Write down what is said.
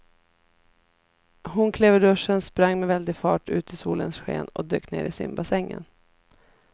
Hon klev ur duschen, sprang med väldig fart ut i solens sken och dök ner i simbassängen.